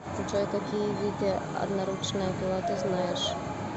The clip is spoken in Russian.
джой какие виды одноручная пила ты знаешь